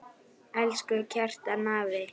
Elsku Kjartan afi.